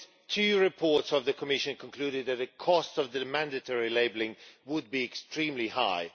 Two reports of the Commission concluded that the cost of mandatory labelling would be extremely high.